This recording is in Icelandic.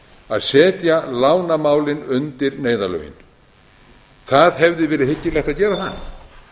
að setja lánamálin undir neyðarlögin það hefði verið hyggilegt að gera það